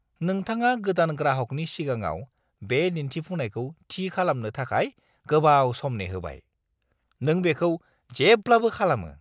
नोंथाङा गोदान ग्राहकनि सिगाङाव बे दिन्थिफुंनायखौ थि खालामनो थाखाय गोबाव सम नेहोबाय। नों बेखौ जेब्लाबो खालामो!